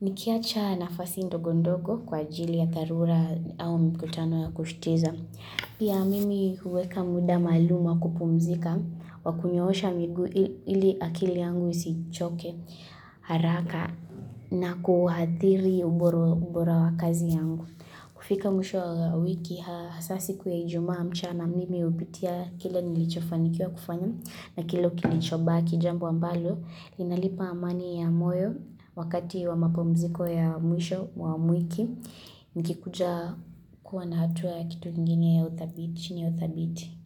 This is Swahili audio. Nikiacha nafasi ndogondogo kwa ajili ya dharura au mkutano ya kushitiza. Pia mimi huweka muda maalum kupumzika, wakunyoosha miguu ili akili yangu isichoke haraka na kuathiri ubora wakazi yangu. Kufika mwisho wa wiki, hasa siku ya ijumaa mchana mimi hupitia kile nilichofanikiwa kufanya na kilo kilichobaki jambu ambalo. Inalipa amani ya moyo wakati wa mapumziko ya mwisho wa mwiki, nikikuja kuwa na hatua kitu nginye ya uthabiti.